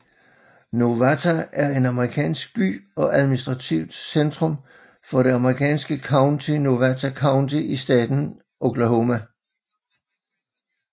Nowata er en amerikansk by og administrativt centrum for det amerikanske county Nowata County i staten Oklahoma